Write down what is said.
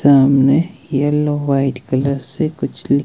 सामने yellow white colour से कुछ--